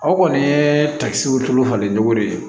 Aw kɔni ye takisiw tulu falen cogo de